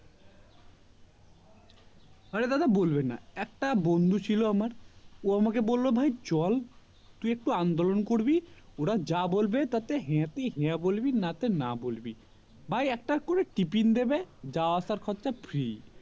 আরে দাদা বলবেন না একটা বন্ধু ছিল আমার ও আমাকে বললো ভাই চল তুই একটু আন্দোলন করবি ওরা যা বলবে তাতে হা তে হা বলবি না তে না বলবি ভাই একটা করে টিফিন দেবে যাওয়া আসার খরচা free